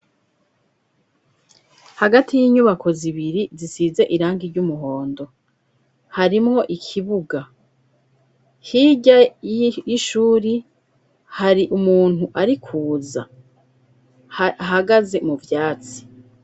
Hagati y'inyubako zibiri zisize irangi ry'umuhondo, harimwo ikibuga. Hirya y'ishuri, hari umuntu ari kuza ahagaze mu vyatsi.